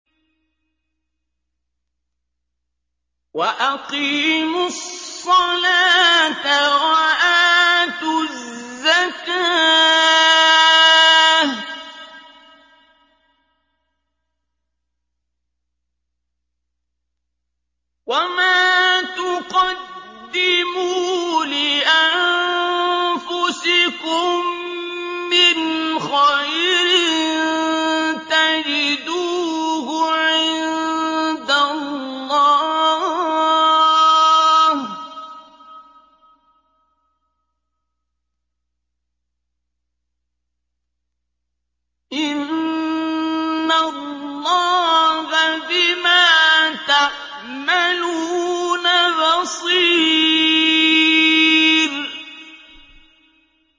وَأَقِيمُوا الصَّلَاةَ وَآتُوا الزَّكَاةَ ۚ وَمَا تُقَدِّمُوا لِأَنفُسِكُم مِّنْ خَيْرٍ تَجِدُوهُ عِندَ اللَّهِ ۗ إِنَّ اللَّهَ بِمَا تَعْمَلُونَ بَصِيرٌ